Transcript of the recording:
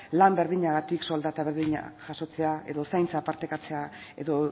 lan berdinetik soldata berdina jasotzea edo zaintza partekatzea edo